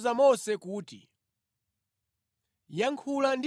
Yehova anawuza Mose kuti,